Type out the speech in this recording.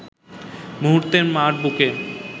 মুহূর্তে মা’র বুকে